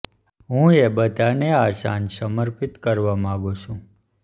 હું એ બધાને આ સાંજ સમર્પિત કરવા માગું છું